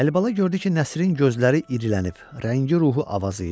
Əlibala gördü ki, Nəsrinin gözləri irilənib, rəngi ruhu avazıyıb.